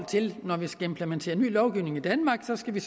når vi skal implementere ny lovgivning i danmark skal vi